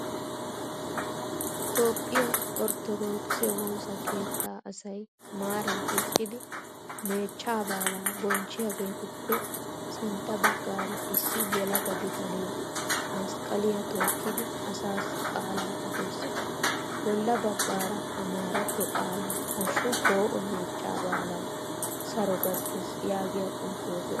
Toophphiya orttodookise woosa keettaa asay maaran eqqidi meechchaa baalaa bonchchiyagetuppe sintta baggaara issi yelaga bitanee masqqaliya tookkidi asaassi qaalaa odes. Bolla baggaara amaratto qaalan hashu poo'o meechchaa baalawu Saro gattees yaagiyaa xuufe de'es